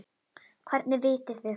Hvernig vitið þið það?